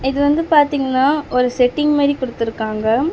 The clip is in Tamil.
இது வந்து பாத்தீங்னா ஒரு செட்டிங் மாரி குடுத்துருக்காங்க.